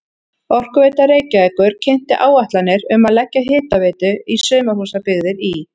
Orkuveita Reykjavíkur kynnti áætlanir um að leggja hitaveitu í sumarhúsabyggðir í